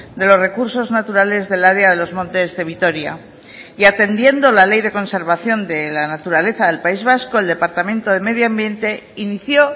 de los recursos naturales del área de los montes de vitoria y atendiendo la ley de conservación de la naturaleza del país vasco el departamento de medio ambiente inició